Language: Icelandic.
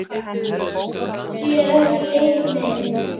Sér ekki leik minn.